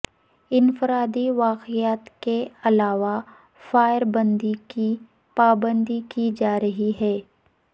انفرادی واقعات کے علاوہ فائر بندی کی پابندی کی جا رہی ہے